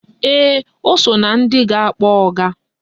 Ee, o so na ndị ga-akpọ ọga